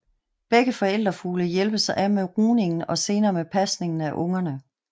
Begge forældrefugle hjælpes ad med rugningen og senere med pasningen af ungerne